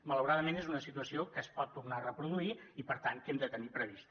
malauradament és una situació que es pot tornar a reproduir i per tant que hem de tenir prevista